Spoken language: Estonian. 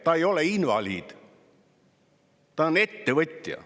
Ta ei ole invaliid, ta on ettevõtja.